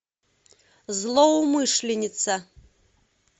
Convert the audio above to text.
злоумышленница